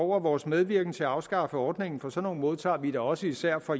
vores medvirken til at afskaffe ordningen for sådan nogle modtager vi da også især fra